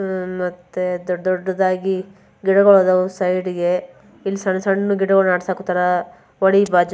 ಅಹ್ ಮತ್ತೆ ದೊಡ್ಡ್ ದೊಡ್ಡದಾಗಿ ಗಿಡಗೋಳ್ ಅದಾವು ಸೈಡ್ಗೆ . ಇಲ್ಲ್ ಸಣ್ಣ್ ಸಣ್ಣ್ ಗಿಡಗೋಳ್ನ ನೆಟ್ಸಾಕುಂತಾರ.